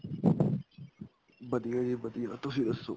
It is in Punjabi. ਵਧੀਆ ਜੀ ਵਧੀਆ ਤੁਸੀਂ ਦੱਸੋ